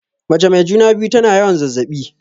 Mace mai juna-biyu tana yawan zazzaɓi.